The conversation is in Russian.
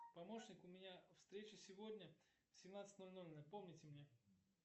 помощник у меня встреча сегодня в семнадцать ноль ноль напомните мне